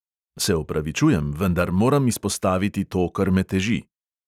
Se opravičujem, vendar moram izpostaviti to, kar me teži.